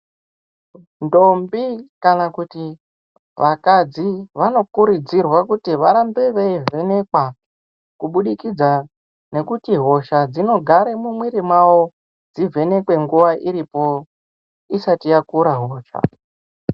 Ndombi kana kuti vakadzi vanokurudzirwa kuti varambe veivhenekwa kubudikidza nekuti hosha dzinogare mumwiri mawo, dzivhenekwe nguva iripo isati yakura hosha.